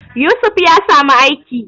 Yusuf ya samu aiki